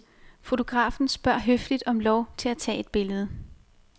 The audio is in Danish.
Fotografen spørger høfligt om lov til at tage et billede.